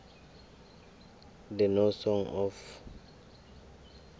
the no song of